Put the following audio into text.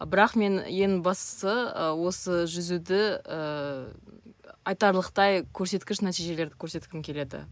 бірақ мен ең бастысы ы осы жүзуді ыыы айтарлықтай көрсеткіш нәтижелерді көрсеткім келеді